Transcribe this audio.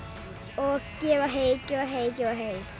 og gefa hey gefa hey gefa hey